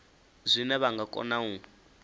zwine vha nga kona u